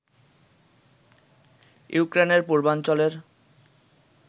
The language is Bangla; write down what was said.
ইউক্রেনের পূর্বাঞ্চলের